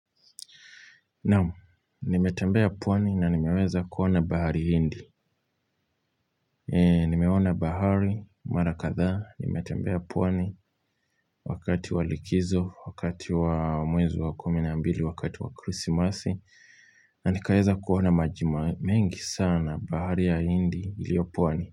Naam, nimetembea pwani na nimeweza kuona bahari hindi. Nimeona bahari, mara kadhaa, nimetembea pwani wakati wa likizo, wakati wa mwezi wa kumi na mbili, wakati wa krisimasi. Na nikaweza kuona maji mengi sana bahari ya hindi iliyo pwani.